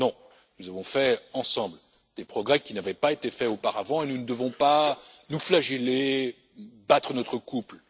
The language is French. Non, nous avons fait ensemble des progrès qui n'avaient pas été faits auparavant et nous ne devons pas nous flageller, battre notre coulpe.